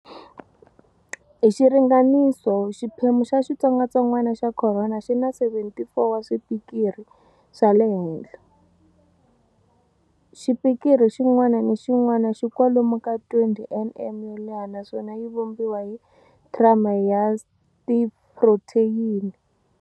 Hi xiringaniso xiphemu xa xitsongatsongwana xa khorona xi na 74 wa swipikiri swa le henhla. Xipikiri xin'wana ni xin'wana xi kwalomu ka 20 nm yo leha naswona yi vumbiwa hi trimer ya S tiphrotheyini.